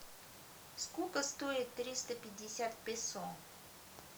сколько стоит триста пятьдесят песо